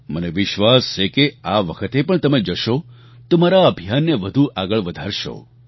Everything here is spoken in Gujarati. મને વિશ્વાસ છે કે આ વખતે પણ તમે જશો તો મારા આ અભિયાનને વધુ આગળ વધારશો